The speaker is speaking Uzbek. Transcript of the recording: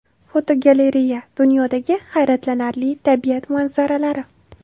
Fotogalereya: Dunyodagi hayratlanarli tabiat manzaralari.